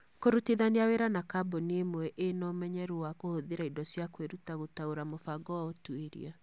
Kũrutithania wĩra na kambuni ĩmwe ĩĩ na ũmenyeru wa kũhũthĩra indo cia kwĩruta gũtaũra mũbango wa ũtuĩria.